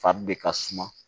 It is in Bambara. Fari de ka suma